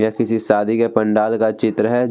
यह किसी शादी के पंडाल का चित्र है।